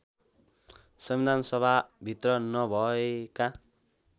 संविधानसभा भित्र नभएका